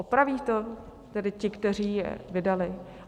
Opraví to tedy ti, kteří je vydali?